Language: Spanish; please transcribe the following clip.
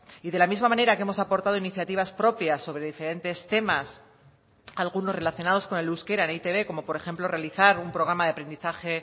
y de la misma manera que hemos aportado iniciativas propias sobre diferentes temas algunos relacionados con el euskera en eitb como por ejemplo realizar un programa de aprendizaje